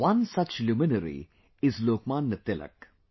One such luminary is Lokmanya Tilak